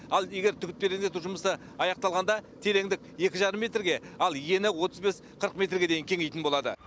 ал егер түп тереңдету жұмысы аяқталғанда тереңдік екі жарым метрге ал ені отыз бес қырық метрге дейін кеңитін болады